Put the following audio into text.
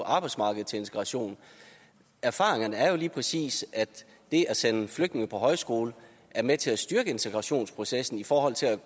arbejdsmarkedet til integration erfaringerne er jo lige præcis at det at sende flygtninge på højskole er med til at styrke integrationsprocessen i forhold til at